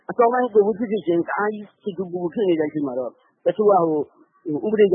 အစောပိုင်း ကိုဗစ်ဖြစ်ကာစ အများကြီးဖြစ်နေတော့ သူသူကိုယ်ကိုယ်ဖြစ်နေတဲ့အချိန် တချို့က ဥပဒေကြ